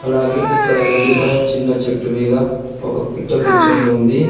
అలాగే ఇక్కడ ఎండిపోయే చిన్న చెట్టు మీద ఒక పిట్ట కూర్చొని ఉంది.